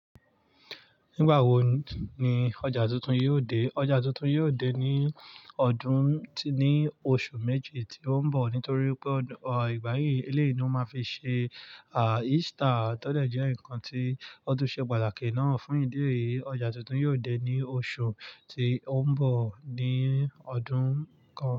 Nígbà wo ni ọjà tuntun yóò dé? Ọjà tuntun yóò dé ní ọdún, ní oṣù méjì tí ó ń bọ̀. Nítorí pé ìgbà yí eléyìí ni wọ́n máa fi ṣe Easter tó dẹ̀ jẹ́ ǹkan tí ó tún ṣe pàtàkì náà fún ìdí èyí, ọjà tuntun yóò dé ní oṣù tí ó ń bọ̀ ní ọdún kan.